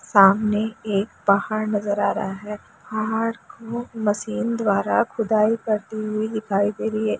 सामने एक पहाड़ नजर आ रहा है पहाड़ को मशीन द्वारा खुदाई करती हुई दिखाई दे रही है।